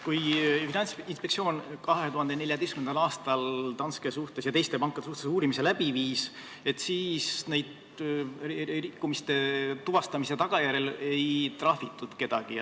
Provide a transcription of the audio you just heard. Kui Finantsinspektsioon 2014. aastal Danske ja teiste pankade suhtes uurimise läbi viis, siis rikkumiste tuvastamise tagajärjel ei trahvitud kedagi.